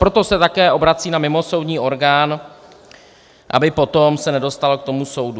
Proto se také obrací na mimosoudní orgán, aby potom se nedostal k tomu soudu.